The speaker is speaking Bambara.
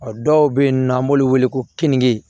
A dɔw bɛ yen nɔ an b'olu wele ko keninke